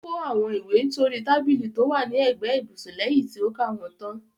Ó kó àwọn ìwé náà sóri tábìlì tó wà ní ẹ̀gbẹ́ ibùsùn lẹyìn tí ó ka wọ́n tán.